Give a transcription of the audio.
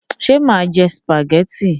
Ṣé mà jẹ sìpàgẹ́tì?